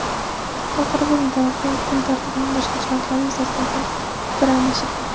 Xalqaro va mintaqaviy kun tartibining boshqa jihatlari yuzasidan ham fikr almashilgan.